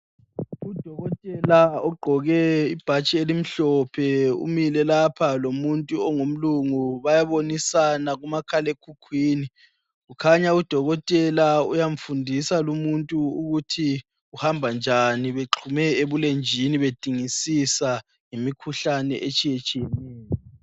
Udokotela ogqoke ibhatshi elimhlophe umile lapha lomuntu ongumlungu bayabonisana kumakhala ekhukhwini kukhanya udokotela uyamfundisa lomuntu ukuthi kuhamba njani beqhume ebulenjini bedingisisa ngemikhuhlane etshiyetshineyo.